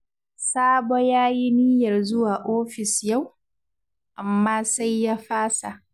Sabo ya yi niyyar zuwa ofis yau, amma sai ya fasa